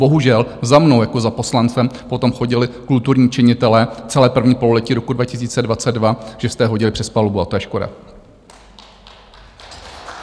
Bohužel za mnou jako za poslancem potom chodili kulturní činitelé celé první pololetí roku 2002, že jste je hodili přes palubu, a to je škoda.